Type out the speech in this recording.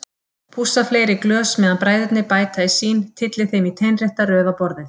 Pússa fleiri glös meðan bræðurnir bæta í sín, tylli þeim í teinrétta röð á borðið.